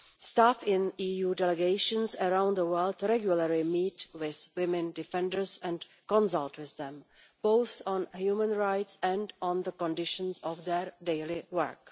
Staff in EU delegations around the world regularly meet with women defenders and consult with them both on human rights and on the conditions of their daily work.